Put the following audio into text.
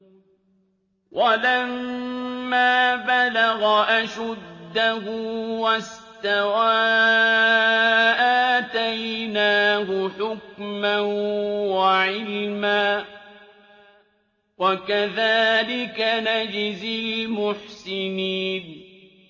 وَلَمَّا بَلَغَ أَشُدَّهُ وَاسْتَوَىٰ آتَيْنَاهُ حُكْمًا وَعِلْمًا ۚ وَكَذَٰلِكَ نَجْزِي الْمُحْسِنِينَ